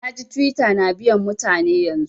Na ji Twitter na biyan mutane yanzun.